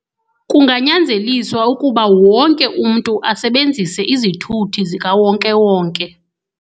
Kunganyanzelisa ukuba wonke umntu asebenzise izithuthi zikawonkewonke.